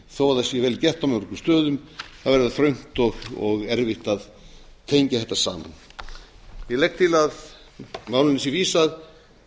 þó það sé vel gert á mörgum stöðum er það þröngt og erfitt að tengja þetta saman ég legg til að málinu sé vísað